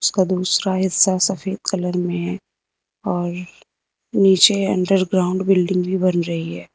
उसका दूसरा हिस्सा सफेद कलर में है और नीचे अंडरग्राउंड बिल्डिंग भी बन रही है।